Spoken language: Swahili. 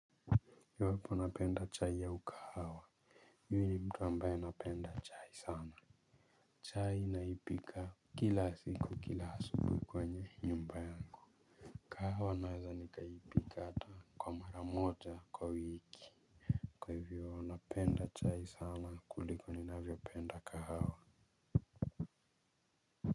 Iwapo napenda chai au kahawa mimi ni mtu ambaye napenda chai sana. Chai naipika kila siku kila asubuhi kwenye nyumba yangu kahawa naweza nikaipika hata kwa mara moja kwa wiki kwa hivyo napenda chai sana kuliko ninavyopenda kahawa.